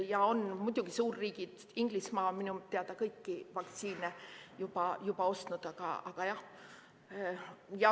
Ja on muidugi suurriigid – näiteks Inglismaa – minu teada kõiki vaktsiine juba ostnud.